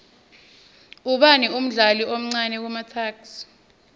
ubani umdlali omcani kumatuks